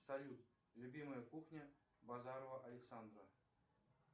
салют любимая кухня базарова александра